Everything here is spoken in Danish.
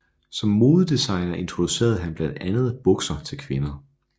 Som modedesigner introducerede han blandt andet bukser til kvinder